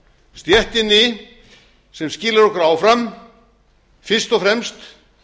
stéttinni sem skilar okkur áfram fyrst og fremst